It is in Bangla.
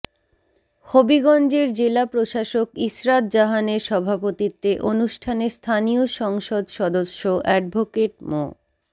হবিগঞ্জের জেলা প্রশাসক ইশরাত জাহানের সভাপতিত্বে অনুষ্ঠানে স্থানীয় সংসদ সদস্য অ্যাডভোকেট মো